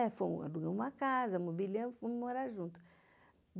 Alugamos uma casa, amobilhamos e fomos morar juntos.